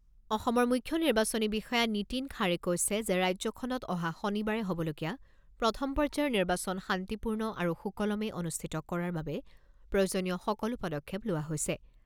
অসমৰ মুখ্য নিৰ্বাচনী বিষয়া নীতিন খাড়ে কৈছে যে ৰাজ্যখনত অহা শনিবাৰে হ'বলগীয়া প্ৰথম পৰ্যায়ৰ নিৰ্বাচন শান্তিপূৰ্ণ আৰু সুকলমে অনুষ্ঠিত কৰাৰ বাবে প্ৰয়োজনীয় সকলো পদক্ষেপ লোৱা হৈছে।